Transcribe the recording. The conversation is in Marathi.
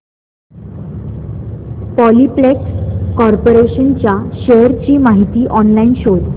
पॉलिप्लेक्स कॉर्पोरेशन च्या शेअर्स ची माहिती ऑनलाइन शोध